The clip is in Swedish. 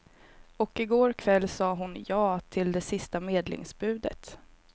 Och i går kväll sade hon ja till det sista medlingsbudet.